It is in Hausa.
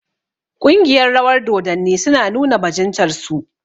Ƙungiyar rawar dodanni su na nuna bajintar su